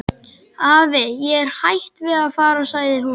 Afi, ég er hætt við að fara sagði hún.